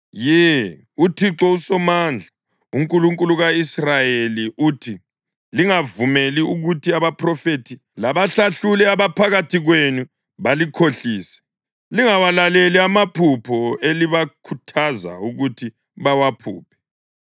Ye, uThixo uSomandla, uNkulunkulu ka-Israyeli uthi, “Lingavumeli ukuthi abaphrofethi labahlahluli abaphakathi kwenu balikhohlise. Lingawalaleli amaphupho elibakhuthaza ukuthi bawaphuphe.